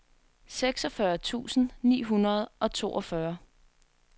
seksogfyrre tusind ni hundrede og toogfyrre